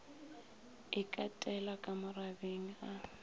e katela ka morabeng a